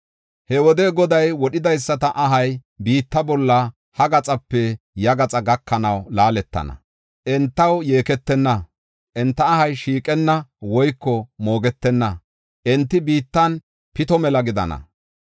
He wode Goday wodhidaysata ahay, biitta bolla ha gaxape ya gaxa gakanaw laaletana. Entaw yeeketenna, enta ahay shiiqenna woyko moogetenna; enti biittan pito mela gidana.